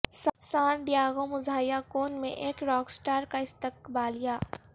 سان ڈیاگو مزاحیہ کون میں ایک راک سٹار کا استقبالیہ